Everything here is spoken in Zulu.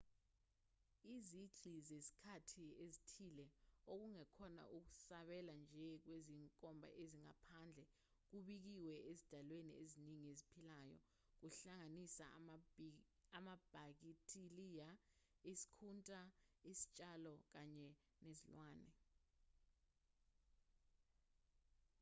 izigqi zezikhathi ezithile okungekhona ukusabela nje kwezinkomba ezingaphandle kubikiwe ezidalweni eziningi eziphilayo kuhlanganise amabhakithiliya isikhunta izitshalo kanye nezilwane